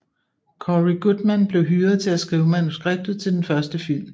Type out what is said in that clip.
Cory Goodman blev hyret til at skrive manuskriptet til den første film